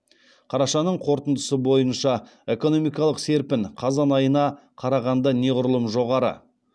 қарашаның қорытындысы бойынша экономикалық серпін қазан айына қарағанда неғұрлым жоғары